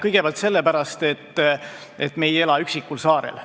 Kõigepealt sellepärast, et me ei ela üksikul saarel.